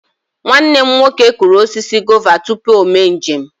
Nwanne m nwoke kụrụ osisi gova tupu o mee njem.